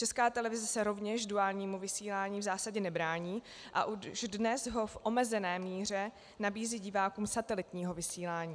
Česká televize se rovněž duálnímu vysílání v zásadě nebrání a už dnes ho v omezené míře nabízí divákům satelitního vysílání.